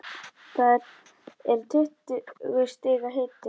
Það er tuttugu stiga hiti.